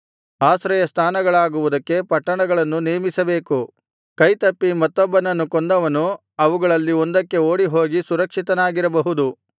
ಆಶ್ರಯ ಸ್ಥಾನಗಳಾಗುವುದಕ್ಕೆ ಪಟ್ಟಣಗಳನ್ನು ನೇಮಿಸಬೇಕು ಕೈತಪ್ಪಿ ಮತ್ತೊಬ್ಬನನ್ನು ಕೊಂದವನು ಅವುಗಳಲ್ಲಿ ಒಂದಕ್ಕೆ ಓಡಿಹೋಗಿ ಸುರಕ್ಷಿತನಾಗಿರಬಹುದು